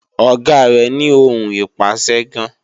Ọ̀gá rẹ́ ní ohùn ìpàṣẹ gan